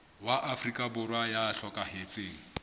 wa afrika borwa ya hlokahetseng